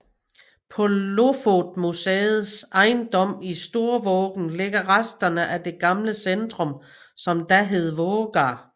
På Lofotmuseets ejendom i Storvågan ligger resterne af det gamle centrum som da hed Vågar